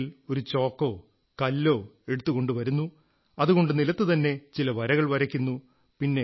ആരെങ്കിലും ഒരു ചോക്കോ കല്ലോ എടുത്തുകൊണ്ടുവരുന്നു അതുകൊണ്ട് നിലത്തുതന്നെ ചില വരകൾ വരയ്ക്കുന്നു